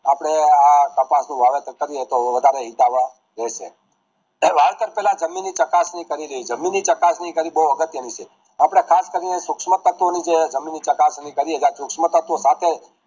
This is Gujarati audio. આપડે આ કપાસ નું વાવેતર કરીએ તો વધારે હિતાવહ રહેશે વાવેતર પેલા જમીન ની ચકાસણી કરી લેવી જમીનની ચકાસણી કરાવી બોવ અગત્ય ની છે આપડે ખાસ કરીને જે સૂક્ષ્મ તત્વોની જે જમીન ની ચકાસણી કરીએ જ્યાં શુક્ષ્મ તત્વો પાછળ